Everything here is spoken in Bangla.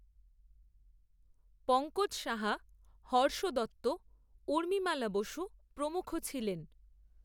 পঙ্কজ সাহা, হর্ষ দত্ত, ঊর্মিমালা বসু, প্রমুখ ছিলেন